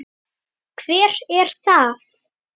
Hvert er það?